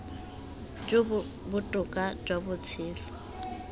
jo bo botoka jwa botshelo